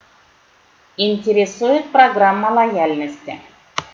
интересует программа лояльности